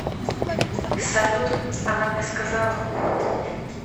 салют она мне сказала